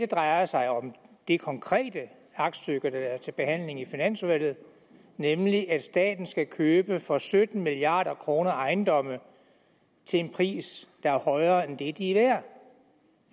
drejer sig om det konkrete aktstykke været til behandling i finansudvalget nemlig at staten skal købe for sytten milliard kroner ejendomme til en pris der er højere end det de er værd